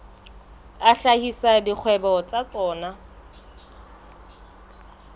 a hlahisa dikgwebo tsa tsona